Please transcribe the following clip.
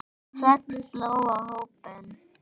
Þögn sló á hópinn.